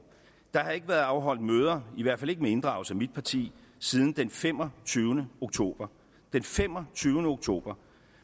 der har ikke været afholdt møder i hvert fald ikke med inddragelse af mit parti siden den femogtyvende oktober den femogtyvende oktober